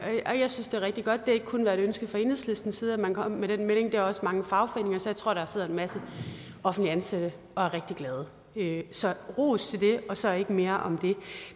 synes det er rigtig godt det har ikke kun været et ønske fra enhedslistens side at man skulle komme med den melding det er også mange fagforeninger så jeg tror der sidder en masse offentligt ansatte og er rigtig glade så ros det og så ikke mere om det